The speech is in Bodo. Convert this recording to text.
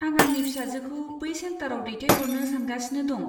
आं आंनि फिसाजोखौ बै सेन्टाराव दैथायहरनो सानगासिनो दं।